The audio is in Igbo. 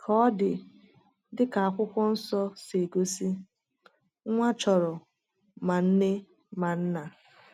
Ka ọ dị, dịka Akwụkwọ Nsọ si egosi, nwa chọrọ ma nne ma nna.